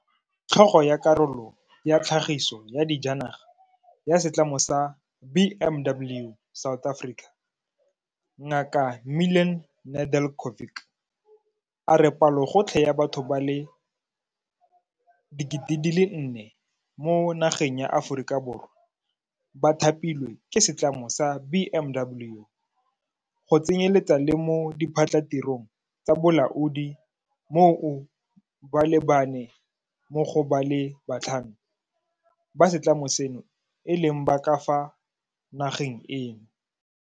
Tlhogo ya Karolo ya Tlhagiso ya Dijanaga ya Setlamo sa BMW South Africa, Ngaka Milan Nedeljkovic, a re palogotlhe ya batho ba le 4 000 mo nageng ya Aforika Borwa ba thapilwe ke setlamo sa BMW, go tsenyeletsa le mo diphatlhatirong tsa bolaodi moo ba le bane mo go ba le batlhano ba setlamo seno e leng ba ka fa nageng eno.